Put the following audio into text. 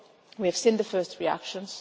few days ago. We have seen the first